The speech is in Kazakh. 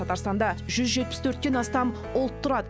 татарстанда жүз жетпіс төрттен астам ұлт тұрады